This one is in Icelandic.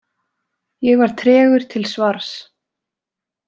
Ég var tregur til svars.